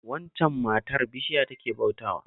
Waccan matar bishiya take bautawa